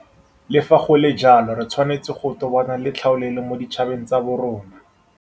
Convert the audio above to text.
Le fa go le jalo, re tshwanetse go tobana le tlhaolele mo ditšhabeng tsa borona.